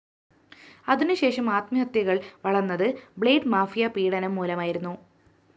അതിനുശേഷം ആത്മഹത്യകള്‍ വളര്‍ന്നത്‌ ബ്ലേഡ്‌ മാഫിയ പീഡനം മൂലമായിരുന്നു